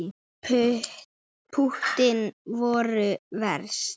Púttin voru verst.